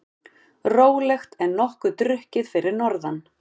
Rólegt en nokkuð drukkið fyrir norðan